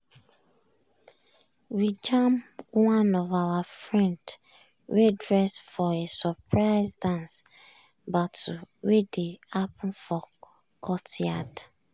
we jam one of our friend wey dress for a surprise dance battle wey dey happen for courtyard.